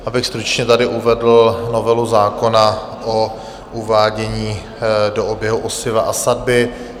... abych stručně tady uvedl novelu zákona o uvádění do oběhu osiva a sadby.